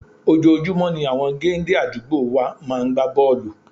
Ojoojúmọ́ ni àwọn géńdé àdúgbò wa máa ń gbá bọ́ọ̀lù